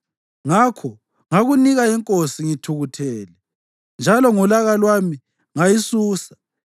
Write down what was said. Ngakho ngakunika inkosi ngithukuthele, njalo ngolaka lwami ngayisusa.